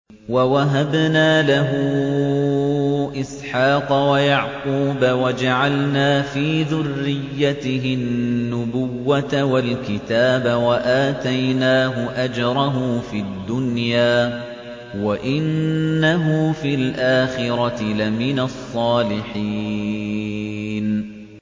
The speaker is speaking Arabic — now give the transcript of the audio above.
وَوَهَبْنَا لَهُ إِسْحَاقَ وَيَعْقُوبَ وَجَعَلْنَا فِي ذُرِّيَّتِهِ النُّبُوَّةَ وَالْكِتَابَ وَآتَيْنَاهُ أَجْرَهُ فِي الدُّنْيَا ۖ وَإِنَّهُ فِي الْآخِرَةِ لَمِنَ الصَّالِحِينَ